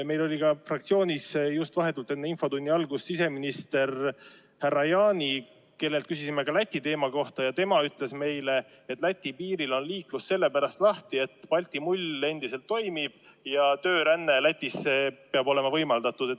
Meil oli fraktsioonis just vahetult enne infotunni algust siseminister härra Jaani, kellelt küsisime ka Läti teema kohta, ja tema ütles meile, et Läti piiril on liiklus lahti sellepärast, et Balti mull endiselt toimib ja tööränne Lätisse peab olema võimaldatud.